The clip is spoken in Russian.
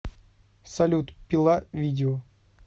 салют пила видео